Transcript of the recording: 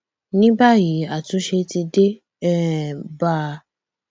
ní báyìí àtúnṣe ti dé um bá a